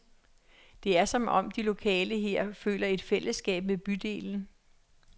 Det er som om, at de lokale her føler et fællesskab med bydelen.